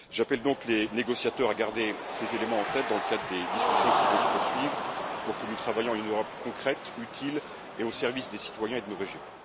J'appelle donc les négociateurs à garder ces éléments en tête dans le cadre des discussions qui vont se poursuivre pour que nous travaillions à une Europe concrète, utile et au service des citoyens et de nos régions.